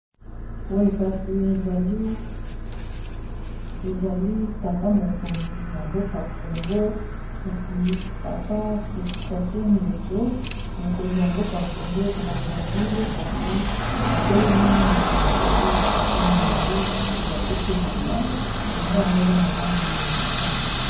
Boye kasi ezali tata mokonzi ya mboka congo kasi papa Sassou Nguesso mokonzi ya mboka congo brazzaville kasi atelemi na moto mosusu ya papa molayi kasi bo apesi elamba elamba yango eza na langi ya motane.